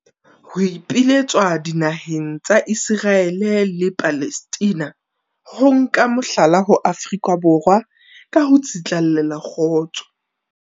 Ho ipiletswa dinaheng tsa Iseraele le Palestina ho nka mohlala ho Afrika Borwa ka ho tsitlallela kgotso.